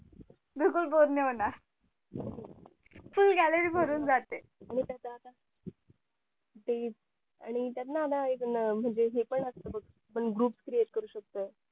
बिलकुल बोर नाही होणार फुल्ल gallery भरून जाते ह आणि त्यात न आता हे पण असत म्हणजे बघ आपण groupcreate करू शकतो बघ